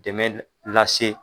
Dɛmɛ lase